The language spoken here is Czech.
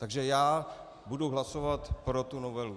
Takže já budu hlasovat pro tu novelu.